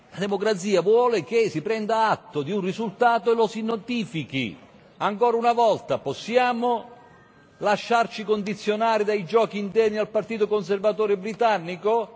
Democrazia vuole che si prenda atto di un risultato e lo si notifichi, ancora una volta possiamo lasciarci condizionare dai giochi interni al partito conservatore britannico?